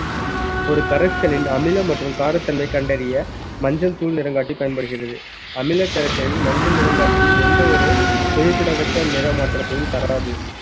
ஒரு கரைச்சலின் அமிலம் மற்றும் காரத்தன்மை கண்டறிய மஞ்சள் தூள் நிறங்காட்டி பயன்படுகிறது அமில கரைசலில் மஞ்சள் நிறங்காட்டி எந்த ஒரு குறிப்பிடத்தக்க நிற மாற்றத்தையும் தராது